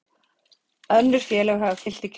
Önnur félög hafa fylgt í kjölfarið